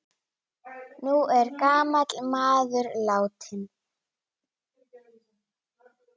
Nú er gamall maður látinn.